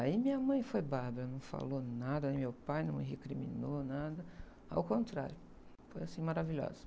Aí minha mãe foi bárbara, não falou nada, meu pai não me recriminou nada, ao contrário, foi assim maravilhosa.